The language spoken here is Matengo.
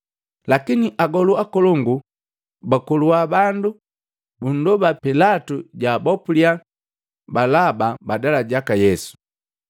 Lakini agolu akolongu bakolua bandu bundoba pilatu jaabopulya Balaba badala jaka Yesu.